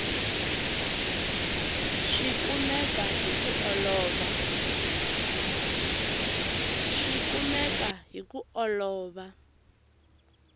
swi kumeka hi ku olova